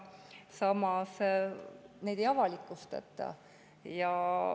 Samas neid ei avalikustata.